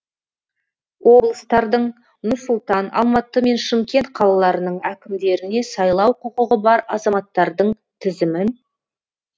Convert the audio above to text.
облыстардың нұр сұлтан алматы мен шымкент қалаларының әкімдеріне сайлау құқығы бар азаматтардың тізімін